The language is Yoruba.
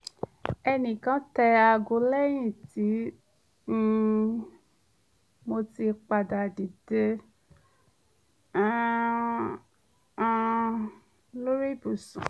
ẹnìkan tẹ aago lẹ́yìn tí um mo ti padà dìde um um lórí ibùsùn